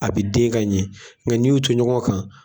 A bɛ den ka ɲɛ nka n'i y'u to ɲɔgɔn kan.